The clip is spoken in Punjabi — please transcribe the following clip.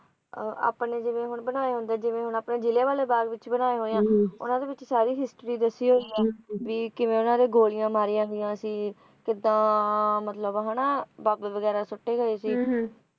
ਅਹ ਆਪਣੇ ਜਿਵੇਂ ਹੁਣ ਬਣਾਏ ਹੁੰਦੇ ਹੈਂ ਜਿਵੇਂ ਹੁਣ ਆਪਣੇ ਜਲ੍ਹਿਆਂ ਵਾਲਾ ਬਾਗ ਵਿਚ ਬਣਾਏ ਹੋਏ ਹੈ ਉਹਨਾਂ ਦੇ ਵਿੱਚ ਸਾਰੀ history ਦੱਸੀ ਹੋਈ ਹੈ ਵੀ ਕਿਵੇਂ ਉਨ੍ਹਾਂ ਦੇ ਗੋਲੀਆਂ ਮਾਰੀਆਂ ਹੋਈਆਂ ਸੀ ਕਿੱਦਾਂ ਮਤਲਬ ਹੈ ਨਾ ਬੰਬ ਵਗੈਰ ਸੁੱਟੇ ਹੋਏ ਸੀ